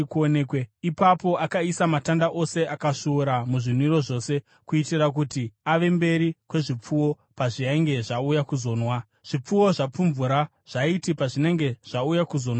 Ipapo akaisa matanda ose akasvuurwa muzvinwiro zvose, kuitira kuti ave mberi kwezvipfuwo pazvainge zvauya kuzonwa. Zvipfuwo zvapfumvura zvaiti pazvinenge zvauya kuzonwa mvura,